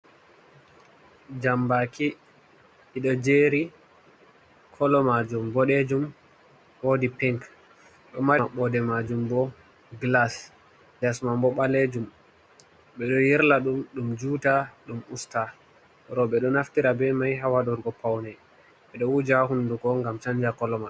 Jambaaki, ɗi ɗo jeeri, kolo maajum boɗejum, woodi pink, ɗo mari maɓɓoode maajum bo gilas, les man bo ɓaleejum, ɓe ɗo yirla ɗum ɗum juuta, ɗum usta. Rooɓe ɗo naftira be mai ha waɗurgo pawne, ɓe ɗo wuja hunduko ngam chanja kolo mai.